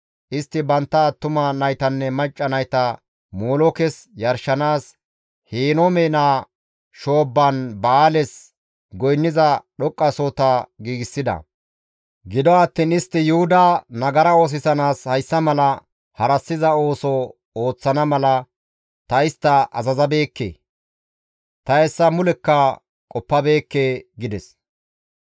Istti bantta attuma naytanne macca nayta Molookes yarshanaas Henoome naa shoobban Ba7aales goynniza dhoqqasohota giigsida; gido attiin istti Yuhuda nagara oosisanaas hayssa mala harassiza ooso ooththana mala ta istta azazabeekke; ta hessa mulekka qoppabeekke» gides.